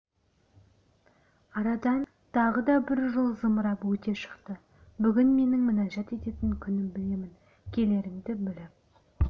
арадан тағы да бір жыл зымырап өте шықты бүгін менің мінәжат ететін күнім білемін келеріңді біліп